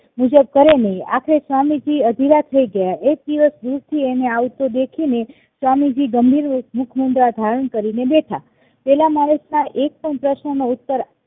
કરે નઈ આખરે સ્વામીજી અધીરા થાઈ ગયા એક દિવસ દૂરથી તેને આવતો દેખીને સ્વામીજી ગંભીર મુખમુદ્રા ધારણ કરીને બેઠા પેલા માણસના એક પ્રશ્ન નો ઉત્તર